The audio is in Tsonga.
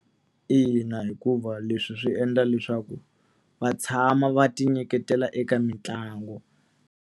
Ina hikuva leswi swi endla leswaku va tshama va tinyiketela eka mitlangu.